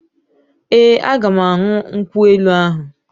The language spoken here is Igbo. Ee, aga m aṅụ nkwụ elu ahụ